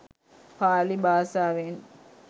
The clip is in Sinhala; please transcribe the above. පාලි බාසාවෙන්.